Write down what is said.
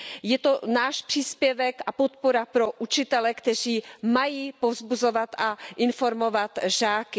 Je to náš příspěvek a podpora pro učitele, kteří mají povzbuzovat a informovat žáky.